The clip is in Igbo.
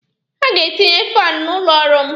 Ha ga-etinye faanụ n'ụlọ ọrụ m.